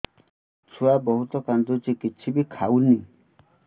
ଛୁଆ ବହୁତ୍ କାନ୍ଦୁଚି କିଛିବି ଖାଉନି